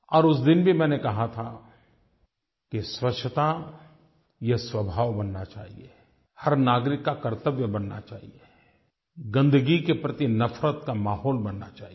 और उस दिन भी मैंने कहा था कि स्वच्छ्ता ये स्वभाव बनना चाहिए हर नागरिक का कर्तव्य बनना चाहिए गंदगी के प्रति नफ़रत का माहौल बनना चाहिए